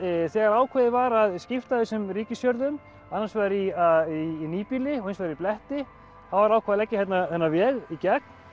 þegar ákveðið var að skipta þessum ríkisjörðum annars vegar í í nýbýli og hins vegar í bletti þá var ákveðið að leggja hérna þennan veg í gegn